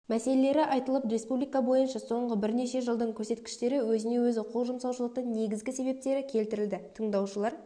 мәселелері айтылып республика бойынша соңғы бірнеше жылдың көрсеткіштері өзіне-өзі қол жұмсаушылықтың негізгі себептері келтірілді тыңдаушылар